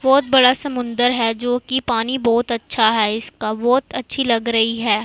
बहुत बड़ा समुंदर हैं जो की पानी बहुत अच्छा हैं इसका बहुत अच्छी लग रहीं हैं।